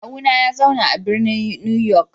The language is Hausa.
Kawuna ya zauna a birnin New York.